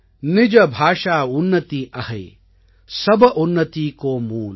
நிஜ பாஷா உன்னதி அஹை சப் உன்னதி கோ மூல்